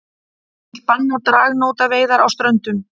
Vilja banna dragnótaveiðar á Ströndum